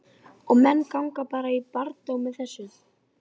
Og menn ganga bara í barndóm með þessu?